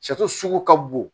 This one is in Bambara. sugu ka bon